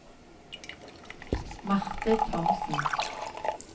Marthe Thomsen